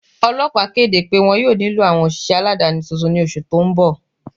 Ọlọpà kede pẹ wọn yọ̀ọ̀ nilọ awọn oṣiṣẹ aládani tuntun ni oṣù tó n bọ̀.